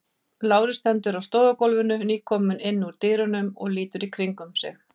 Lárus stendur á stofugólfinu, nýkominn inn úr dyrunum og lítur í kringum sig.